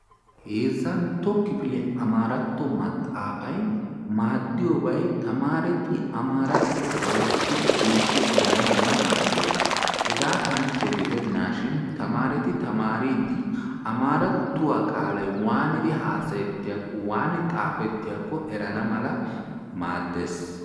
Heezzantto kifile Amaratto maxaafay maaddiyobay tamareti Amarattuwa loyttidi geeshshidi erana mala maaddees. Hega kanchche gidennashin tamareti tamateridi Amarattuwa qaalay haassayetiyakko, waanidi xaafetiyaaakko erana mala maaddees.